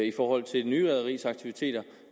i forhold til det nye rederis aktiviteter